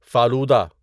falooda